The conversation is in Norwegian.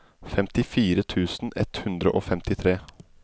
femtifire tusen ett hundre og femtitre